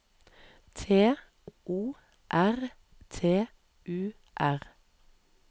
T O R T U R